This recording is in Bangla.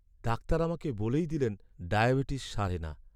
ডাক্তার আমাকে বলেই দিলেন ডায়াবেটিস সারে না।